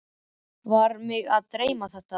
Eða var mig að dreyma þetta?